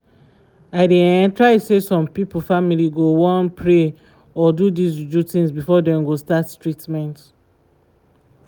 i dey um try say some pipo family go wan pray or do dis ju-ju things before dem go start treatment